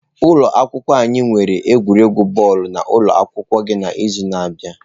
Ụlọ akwụkwọ anyị ga-enwe egwuregwu bọọlụ na ụlọ akwụkwọ gị n'izu na-abịa.